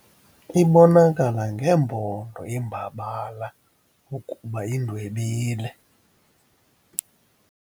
Ibonakala ngeempondo iimbabala ukuba indwebile.